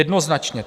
Jednoznačně.